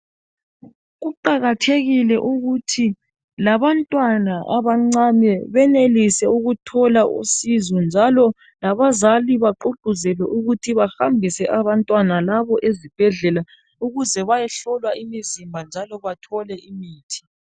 Kuqakathekile ukuthi labantwana abancane benelise ukuthola uncedo njalo labazali bagqugquzelwe ukuthi bahambise abantwana labo ezibhedlela ukuze bayehlolwa imizimba njalo bathole imithi.